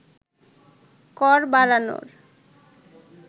কর বাড়ানোর